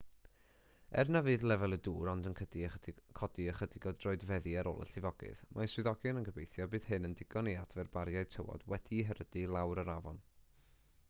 er na fydd lefel y dŵr ond yn codi ychydig o droedfeddi ar ôl y llifogydd mae swyddogion yn gobeithio y bydd hyn yn ddigon i adfer bariau tywod wedi'u herydu i lawr yr afon